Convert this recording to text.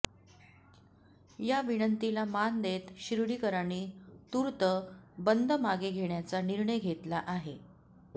या विनंतीला मान देत शिर्डीकरांनी तूर्त बंद मागे घेण्याचा निर्णय घेतला आहे